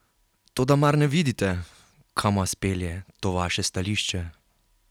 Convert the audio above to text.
Toda mar ne vidite, kam vas pelje to vaše stališče?